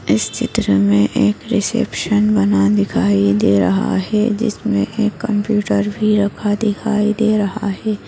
इस चित्र में एक रिसेप्शन बना दिखाई दे रहा है जिसमे एक कम्प्युटर भी रखा दिखाई दे रहा है।